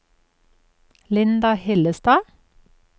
Linda Hillestad